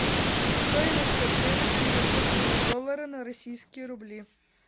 стоимость обмена сингапурского доллара на российские рубли